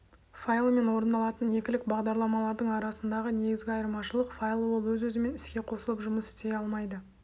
файлы мен орындалатын екілік бағдарламалардың арасындағы негізгі айырмашылық файлы ол өз-өзімен іске қосылып жұмыс істей алмайды